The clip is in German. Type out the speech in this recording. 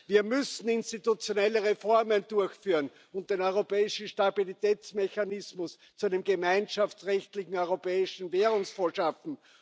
Wir müssen institutionelle Reformen durchführen und den Europäischen Stabilitätsmechanismus zu einem gemeinschaftsrechtlichen Europäischen Währungsfonds schaffen.